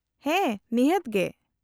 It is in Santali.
-ᱦᱮᱸ ᱱᱤᱦᱟᱹᱛ ᱜᱮ ᱾